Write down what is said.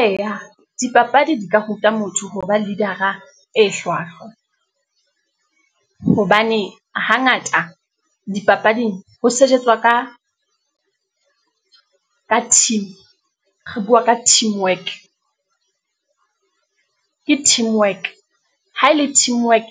Eya dipapadi di ka ruta motho hoba leader-a e hlwahlwa, hobane hangata dipapading ho sejetswa ka team, re bua ka teamwork, ke teamwork, ha ele teamwork